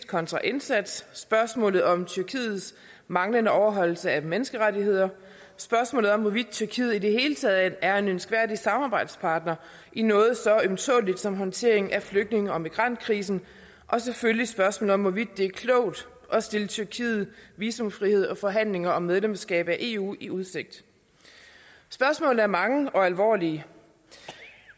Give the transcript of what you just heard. kontra indsats spørgsmålet om tyrkiets manglende overholdelse af menneskerettigheder spørgsmålet om hvorvidt tyrkiet i det hele taget er en ønskværdig samarbejdspartner i noget så ømtåleligt som håndteringen af flygtninge og migrantkrisen og selvfølgelig spørgsmålet om hvorvidt det er klogt at stille tyrkiet visumfrihed og forhandlinger om medlemskab af eu i udsigt spørgsmålene er mange og alvorlige